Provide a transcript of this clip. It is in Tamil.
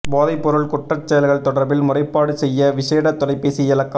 போதைப்பொருள் குற்றச் செயல்கள் தொடர்பில் முறைப்பாடு செய்ய விஷேட தொலைபேசி இலக்கம்